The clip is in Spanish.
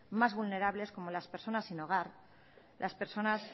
más vulnerables como las personas sin hogar las personas